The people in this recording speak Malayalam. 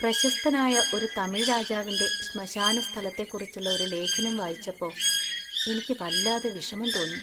പ്രശസ്തനായ ഒരു തമിഴ് രാജാവിന്‍റെ ശ്മശാന സ്ഥലത്തെക്കുറിച്ചുള്ള ഒരു ലേഖനം വായിച്ചപ്പോ എനിക്ക് വല്ലാതെ വിഷമം തോന്നി.